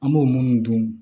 An b'o minnu dun